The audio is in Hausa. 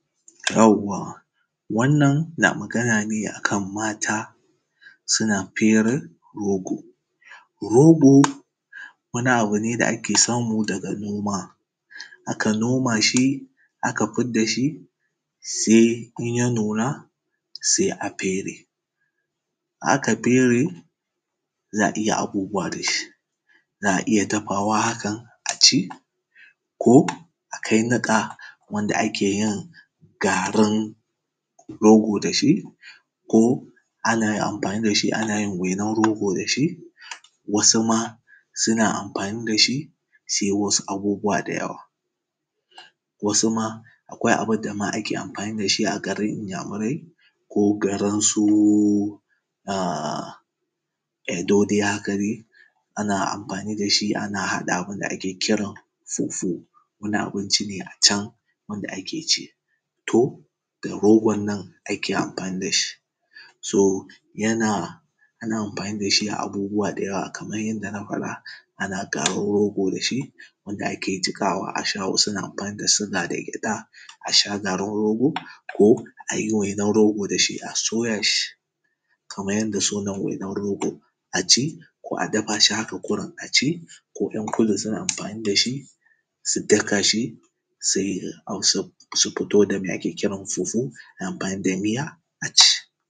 yawwa wannan na magana ne a kan mata suna fere rogo rogo wani abu ne da ake samu daga noma aka noma shi aka fidda shi sai in ya nuna sai a fere in aka fere za a iya abubuwa da shi za a iya dafawa haka a ci ko a kai niƙa wanda ake yin garin rogo da shi ko ana yin amfani da shi ana yin garin rogo da shi wasu ma suna amfani da shi su yi wasu abubuwa da yawa wasu ma akwai abin da ma ake amfani da shi a garin inyamurai ko garin su edo dai haka dai ana amfani da shi ana haɗa abin da ake kiran soso wani abinci ne a can wanda ake ci to da rogon nan ake amfani da shi so yana ana amfani da shi a abubuwa kaman yanda na faɗa ana garin rogo da shi wanda ake jiƙawa a sha wasu na amfani da suga da gyaɗa a sha garin rogo ko a yi wainar rogo da shi a soya shi kaman yanda sunan wainar rogo a ci ko a dafa shi haka kurum a ci ko ‘yan kudu suna amfani da shi su daka shi su fito da me ake kiran fufu da amfani da miya a ci